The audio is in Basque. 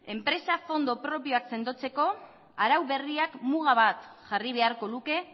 enpresa fondo propioak sendotzeko arau berriak muga bat jarri beharko luke